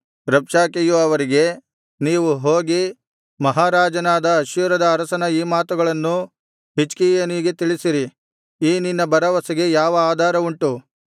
ರಬ್ಷಾಕೆಯು ಅವರಿಗೆ ನೀವು ಹೋಗಿ ಮಹಾರಾಜನಾದ ಅಶ್ಶೂರದ ಅರಸನ ಈ ಮಾತುಗಳನ್ನು ಹಿಜ್ಕೀಯನಿಗೆ ತಿಳಿಸಿರಿ ಈ ನಿನ್ನ ಭರವಸೆಗೆ ಯಾವ ಆಧಾರವುಂಟು